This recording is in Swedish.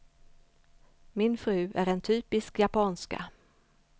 Min fru är en typisk japanska.